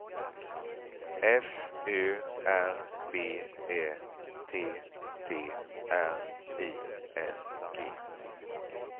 F Ö R B Ä T T R I N G